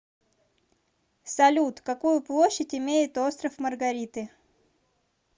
салют какую площадь имеет остров маргариты